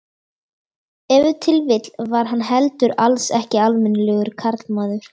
Ef til vill var hann heldur alls ekki almennilegur karlmaður.